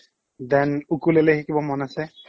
then ukulele শিকিব মন আছে